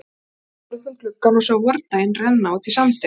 Ásta horfði út um gluggann og sá vordaginn renna út í sandinn.